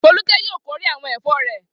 Folúkẹ́ yóò kórè àwọn ẹ̀fọ́ rẹ̀.